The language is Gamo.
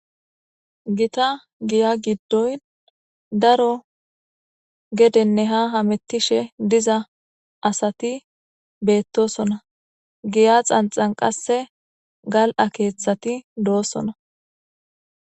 gita giya giddoyn daro gedenne ha hamettishe diza asati beettosona giya xanxan qasse gal7a keeththati doosona